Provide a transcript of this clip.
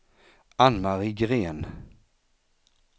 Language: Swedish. Ann-Marie Gren